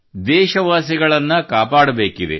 ದೇಶವಾಸಿಗಳನ್ನು ಕಾಪಾಡಬೇಕಿದೆ